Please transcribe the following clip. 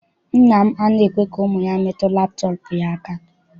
Nna m anaghị ekwe ka ụmụ ya metụ laptọọpụ ya aka.